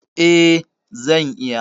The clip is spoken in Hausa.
Eh, zan iya.